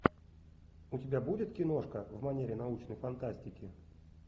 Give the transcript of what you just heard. у тебя будет киношка в манере научной фантастики